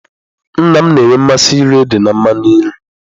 Nna m na-enwe mmasị iri ede na mmanụ nri.